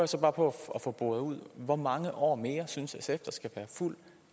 så bare på at få boret ud hvor mange år mere synes sf der skal være fuld